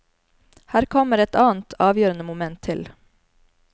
Her kommer et annet, avgjørende moment til.